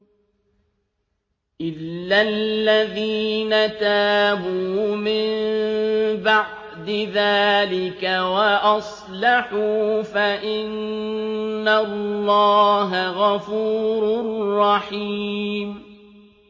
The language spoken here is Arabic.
إِلَّا الَّذِينَ تَابُوا مِن بَعْدِ ذَٰلِكَ وَأَصْلَحُوا فَإِنَّ اللَّهَ غَفُورٌ رَّحِيمٌ